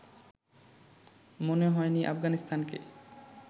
মনে হয়নি আফগানিস্তানকে